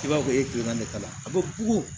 I b'a fɔ e kilan de kalan a bɛ bugu